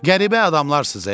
Qəribə adamlarsız.